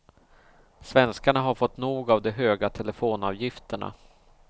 Svenskarna har fått nog av de höga telefonavgifterna.